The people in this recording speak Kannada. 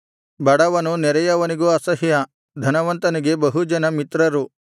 ಬಡವನು ನೆರೆಯವನಿಗೂ ಅಸಹ್ಯ ಧನವಂತನಿಗೆ ಬಹು ಜನ ಮಿತ್ರರು